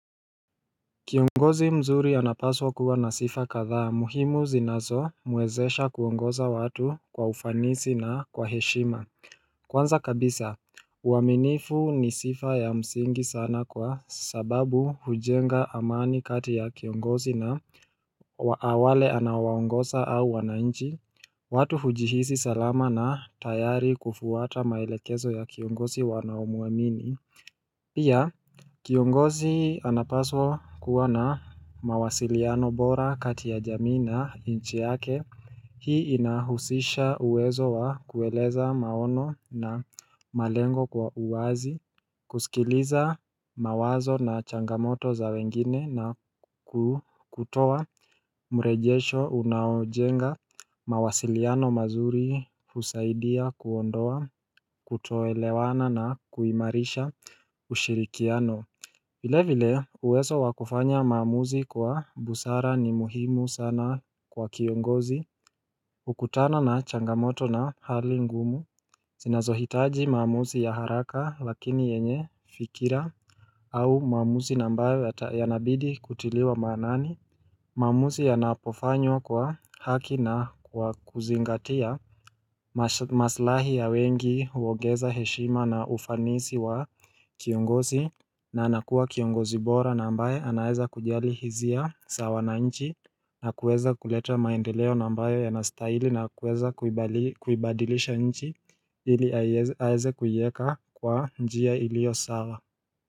Kiongozi mzuri anapaswa kuwa na sifa kadhaa muhimu zinazomwezesha kuongoza watu kwa ufanisi na kwa heshima Kwanza kabisa, uaminifu ni sifa ya msingi sana kwa sababu hujenga amani kati ya kiongozi na wale anawaongosa au wanainchi watu hujihisi salama na tayari kufuata maelekezo ya kiongozi wanaomuamini Pia, kiongozi anapaswa kuwa na mawasiliano bora kati ya jamii na inchi yake Hii inahusisha uwezo wa kueleza maono na malengo kwa uwazi kusikiliza mawazo na changamoto za wengine na kutowa mrejesho unaojenga mawasiliano mazuri usaidia kuondoa kutoelewana na kuimarisha ushirikiano vile vile uwezo wa kufanya maamuzi kwa busara ni muhimu sana kwa kiongozi Ukutana na changamoto na hali ngumu zinazohitaji maamuzi ya haraka lakini yenye fikira au maamuzi na ambayo yanabidi kutiliwa manani maamuzi yanapofanywa kwa haki na kwa kuzingatia maslahi ya wengi uongeza heshima na ufanisi wa kiongozi na anakuwa kiongozi bora na ambaye anaeza kujali hizia za wananchi na kueza kuleta maendeleo na ambayo yanastaili na kueza kuibadilisha nchi ili aeze kuieka kwa njia ilio sawa.